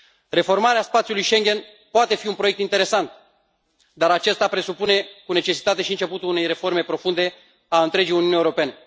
Reformarea spațiului Schengen poate fi un proiect interesant, dar aceasta presupune cu necesitate și începutul unei reforme profunde a întregii Uniuni Europene.